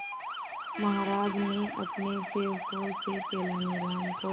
महाराज ने अपने सेवकों से तेनालीराम को